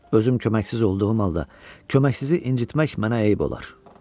Özüm köməksiz olduğum halda köməksizi incitmək mənə eyib olar.